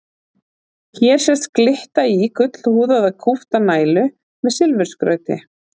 Hér sést glitta í gullhúðaða kúpta nælu með silfurskrauti.